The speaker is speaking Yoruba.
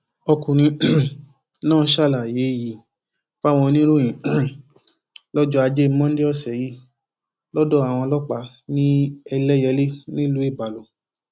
ọkùnrin um náà ṣàlàyé yìí fáwọn oníròyìn um lọjọ ajé monde ọsẹ yìí lọdọ àwọn ọlọpàá ní ẹlẹyẹlé nílùú ibalo